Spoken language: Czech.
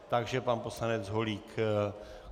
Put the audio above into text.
Takže pan poslanec Holík.